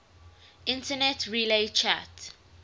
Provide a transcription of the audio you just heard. internet relay chat